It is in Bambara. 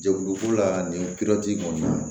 Jɛkulu la nin